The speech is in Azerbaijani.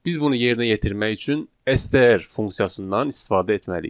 Biz bunu yerinə yetirmək üçün STR funksiyasından istifadə etməliyik.